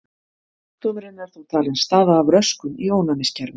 Sjúkdómurinn er þó talinn stafa af röskun í ónæmiskerfinu.